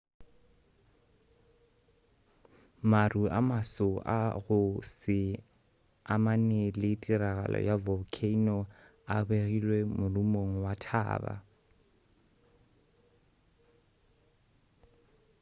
maru a maso a go se amane le tiragalo ya volcano a begilwe morumong wa thaba